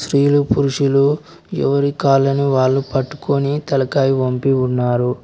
స్త్రీలు పురుషులు ఎవరి కాలనీ వాళ్లు పట్టుకొని తలకాయి పంపి ఉన్నారు.